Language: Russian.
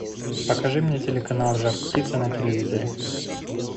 покажи мне телеканал жар птица на телевизоре